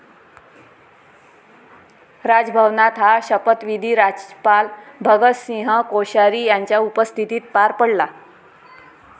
राजभवनात हा शपथविधी राज्यपाल भगतसिंह कोश्यारी यांच्या उपस्थितीत पार पडला.